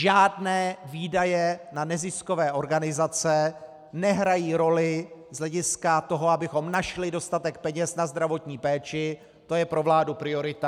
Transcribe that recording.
Žádné výdaje na neziskové organizace nehrají roli z hlediska toho, abychom našli dostatek peněz na zdravotní péči, to je pro vládu priorita.